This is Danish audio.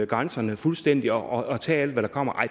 grænserne fuldstændig og tage alt hvad der kommer